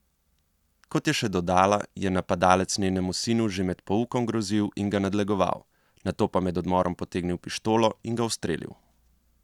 Kot je še dodala, je napadalec njenemu sinu že med poukom grozil in ga nadlegoval, nato pa med odmorom potegnil pištolo in ga ustrelil.